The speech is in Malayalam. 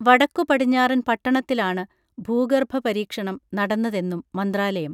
വടക്കു പടിഞ്ഞാറൻ പട്ടണത്തിലാണ് ഭൂഗർഭ പരീക്ഷണം നടന്നതെന്നും മന്ത്രാലയം